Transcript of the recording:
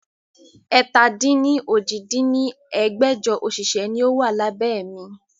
ẹ̀ta-dín-ní-ojì dín ní ẹgbẹ́jọ òṣìṣẹ́ ni ó wà lábẹ́ mi